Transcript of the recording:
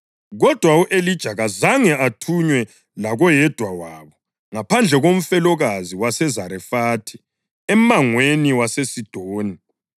Kodwa u-Elija kazange athunywe lakoyedwa wabo, ngaphandle komfelokazi waseZarefathi emangweni waseSidoni.